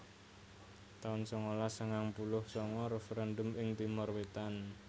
taun sangalas sangang puluh sanga Referendum ing Timor Wetan